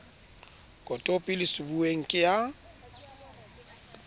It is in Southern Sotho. kotopi le sebuweng ke ya